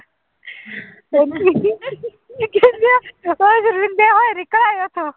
ਤੇ ਨਾ ਕਹਿੰਦੇ ਆ